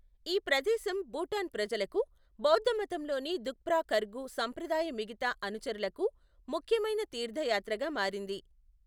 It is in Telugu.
ఈ ప్రదేశం భూటాన్ ప్రజలకు, బౌద్ధమతంలోని ద్రుక్పా ఖర్గు సంప్రదాయ మిగతా అనుచరులకు ముఖ్యమైన తీర్థయాత్రగా మారింది.